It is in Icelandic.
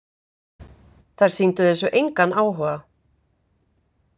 Þær sýndu þessu engan áhuga.